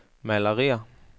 malerier